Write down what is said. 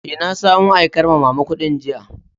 Eh, na samo aikar ma'mama kudin jiya.